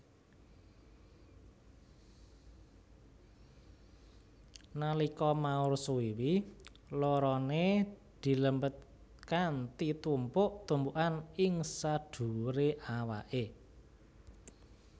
Nalika maur suwiwi loroné dilempitkanthi tumpuk tumpukan ing sadhuwuré awaké